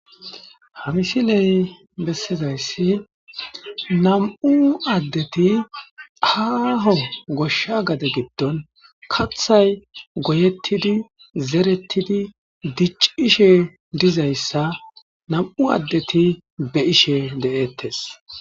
hamisiley bessizayssi nam7u addeti aaho goshsha gade giddon kathay goyettidi zerettidi dicc ishe dizayssa nam7u addeti be ishe de7ettes